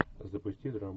запусти драму